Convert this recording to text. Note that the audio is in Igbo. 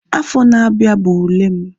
Afọ na-abịa bụ ule m